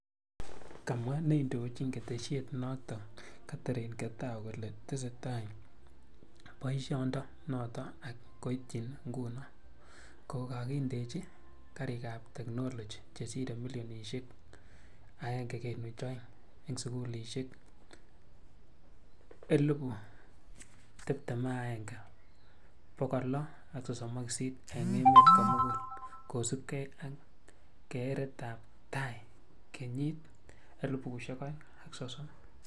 Kamwa neindochini ketesyet notok Katherine Getao kole tesetai paisiondo notok ak koitchini nguno, ko kagendena karik ap teknoloji chesire milionisiek 1.2 eng' sugulisiek 21,638 eng emet komugul kosupkei ak keeret ap tai kenyit 2030.